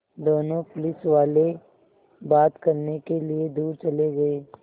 दोनों पुलिसवाले बात करने के लिए दूर चले गए